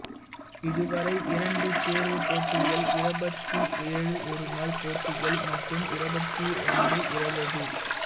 இதுவரை இரண்டு தேர்வு போட்டிகள் இருபத்தி ஏழு ஒருநாள் போட்டிகள் மற்றும் இருபத்திரண்டு இருபது